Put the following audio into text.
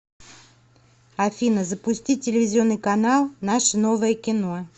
афина запустить телевизионный канал наше новое кино